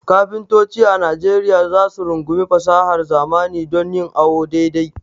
Kafintoci a Najeriya za su rungumi fasahar zamani don yin awo dai dai.